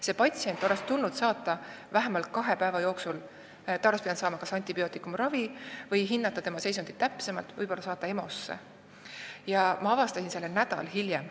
See patsient oleks tulnud saata edasi vähemalt kahe päeva jooksul – ta oleks pidanud saama kas antibiootikumiravi või oleks tulnud hinnata tema seisundit täpsemalt, võib-olla oleks tulnud saata ta EMO-sse –, aga ma avastasin selle alles nädal hiljem.